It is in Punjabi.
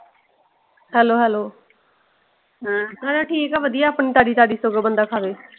Hello Hello ਨਾਲੇ ਠੀਕ ਆ ਵਧੀਆ ਆਪਣੀ ਤਾਜ਼ੀ ਤਾਜ਼ੀ ਸਗੋਂ ਬੰਦਾ ਖਾਵੇ।